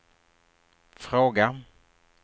fråga